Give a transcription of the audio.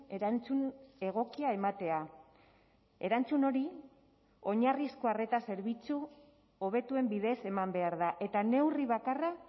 erantzun egokia ematea erantzun hori oinarrizko arreta zerbitzu hobetuen bidez eman behar da eta neurri bakarra